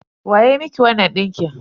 Wa ya miki wannan ɗinkin?